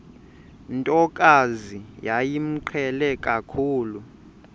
ntokazi yayimqhele kakhulu